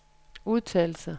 udtalelser